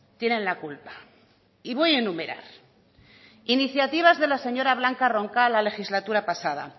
tienen la culpa y voy a enumerar iniciativas de la señora blanca roncal la legislatura pasada